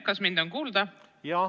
Kas mind on kuulda?